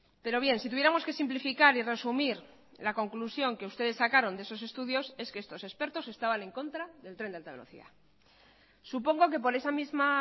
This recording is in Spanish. pero bien si tuviéramos que simplificar y resumir la conclusión que ustedes sacaron de esos estudios es que estos expertos estaban en contra del tren de alta velocidad supongo que por esa misma